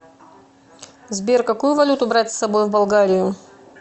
сбер какую валюту брать с собой в болгарию